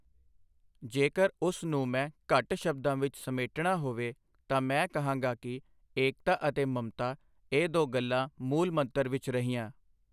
ਜੇਕਰ ਉਸ ਨੂੰ ਮੈਂ ਘੱਟ ਸ਼ਬਦਾਂ ਵਿੱਚ ਸਮੇਟਣਾ ਹੋਵੇ ਤਾਂ ਮੈਂ ਕਹਾਂਗਾ ਕਿ ਏਕਤਾ ਅਤੇ ਮਮਤਾ, ਇਹ ਦੋ ਗੱਲਾਂ ਮੂਲ ਮੰਤਰ ਵਿੱਚ ਰਹੀਆਂ।